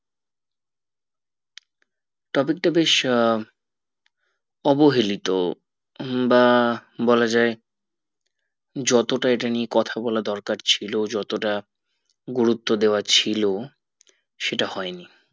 topic তা বেশ আহ অবহেলিত হম বা বলা যাই যতটা ইটা নিয়ে কথা বলা দরকার ছিল যতটা গুরুত্ব দেওয়া ছিল সেটা হয়নি